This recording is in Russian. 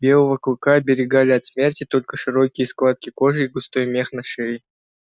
белого клыка оберегали от смерти только широкие складки кожи и густой мех на шее